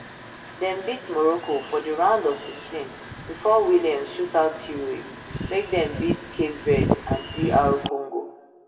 dem beat morocco for di round of sixteen before williams shootout heroics make dem baet cape verde and dr congo